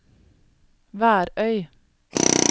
Værøy